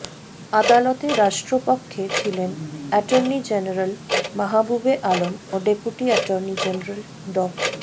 আদালতে রাষ্ট্রপক্ষে ছিলেন অ্যাটর্নি জেনারেল মাহবুবে আলম ও ডেপুটি অ্যাটর্নি জেনারেল ড